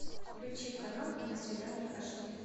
включи канал киносвидание аш ди